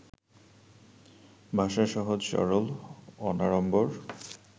ভাষা সহজ, সরল, অনাড়ম্বর